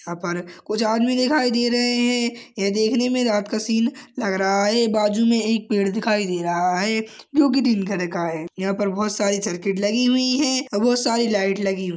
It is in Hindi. यहां पर कुछ आदमी दिखाई दे रहे है ये देखने में रात का सिन लग रहा है बाजु में एक पेड़ दिखाई दे रहा है जोकि तीन खड़ का है यहां पे बहुत सारी सर्किट लगी हुई है और बहुत सारी लाइट लगी हु--